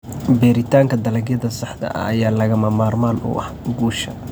Beeritaanka dalagyada saxda ah ayaa lagama maarmaan u ah guusha.